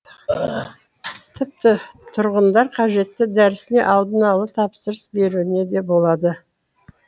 тіпті тұрғындар қажетті дәрісіне алдын ала тапсырыс беруіне де болады